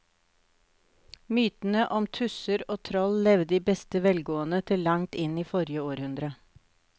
Mytene om tusser og troll levde i beste velgående til langt inn i forrige århundre.